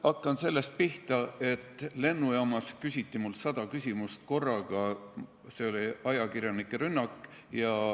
Hakkan pihta sellest, et lennujaamas küsiti mult sada küsimust korraga, see oli ajakirjanike rünnak.